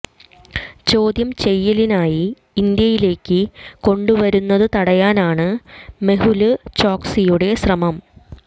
ചോദ്യം ചെയ്യലിനായി ഇന്ത്യയിലേയ്ക്ക് കൊണ്ടുവരുന്നത് തടയാനാണ് മെഹുല് ചോക്സിയുടെ ശ്രമം